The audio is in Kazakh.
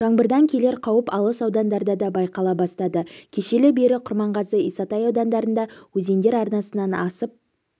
жаңбырдан келер қауіп алыс аудандарда да байқала бастады кешелі бері құрманғазы исатай аудандарында өзендер арнасынан асып